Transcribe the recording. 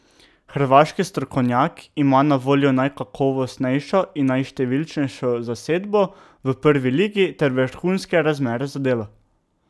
Hrvaški strokovnjak ima na voljo najkakovostnejšo in najštevilnejšo zasedbo v prvi ligi ter vrhunske razmere za delo.